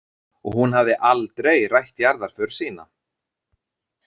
Og hún hafði aldrei rætt jarðarför sína.